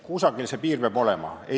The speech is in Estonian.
Kusagil see piir peab olema, on ju.